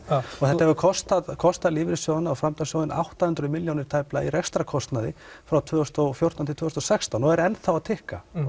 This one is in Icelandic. og þetta hefur kostað kostað lífeyrissjóðina og framtakssjóðina átta hundruð milljónir tæplega í rekstrarkostnaði frá tvö þúsund og fjórtán til tvö þúsund og sextán og er enn þá að tikka